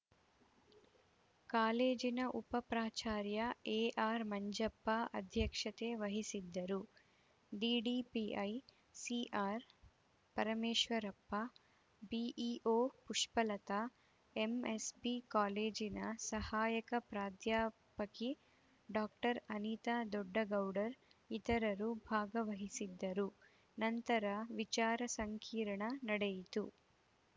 ಕಾಲೇಜಿನ ಉಪ ಪ್ರಾಚಾರ್ಯ ಎಆರ್‌ಮಂಜಪ್ಪ ಅಧ್ಯಕ್ಷತೆ ವಹಿಸಿದ್ದರು ಡಿಡಿಪಿಐ ಸಿಆರ್‌ಪರಮೇಶ್ವರಪ್ಪ ಬಿಇಒ ಪುಷ್ಪಲತಾ ಎಂಎಸ್‌ಬಿ ಕಾಲೇಜಿನ ಸಹಾಯಕ ಪ್ರಾಧ್ಯಾಪಕಿ ಡಾಕ್ಟರ್ ಅನಿತಾ ದೊಡ್ಡಗೌಡರ್‌ ಇತರರು ಭಾಗವಹಿಸಿದ್ದರು ನಂತರ ವಿಚಾರ ಸಂಕಿರಣ ನಡೆಯಿತು